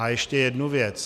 A ještě jedna věc.